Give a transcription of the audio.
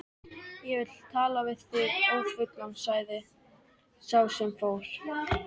Ég vil tala við þig ófullan sagði sá sem fór.